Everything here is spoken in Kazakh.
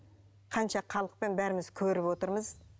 қанша халықпен бәріміз көріп отырмыз